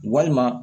Walima